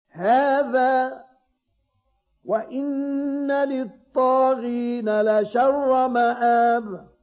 هَٰذَا ۚ وَإِنَّ لِلطَّاغِينَ لَشَرَّ مَآبٍ